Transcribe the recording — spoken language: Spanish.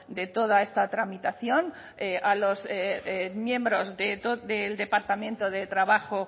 de toda esta tramitación a los miembros del departamento de trabajo